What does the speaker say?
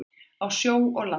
Á sjó og landi.